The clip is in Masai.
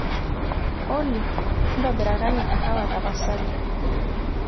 olly ntobirakaki kahawa tapasali